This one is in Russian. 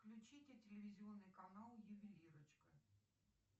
включите телевизионный канал ювелирочка